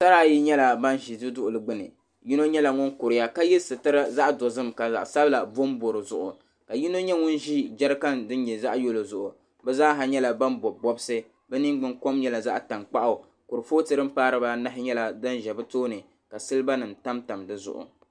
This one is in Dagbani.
Nyɛla ba n zi du duɣirigu gbuni yino yɛla ŋuni kuriya ka yiɛ sitira zaɣi dozim ka zaɣi sabila bombo di zuɣu ka yino yɛ ŋun zɛya jarikan dinyɛ zaɣi dinyɛ zaɣi yɛllo zuɣu bi zaha yɛla ba ni bɔbi bɔbisi bi niŋ gbuŋ kom yɛla zaɣi tankpaɣu kurifooto di n pai diba anahi yɛla di n zɛ bi tooni ka siliba nim tam tam di zuɣu.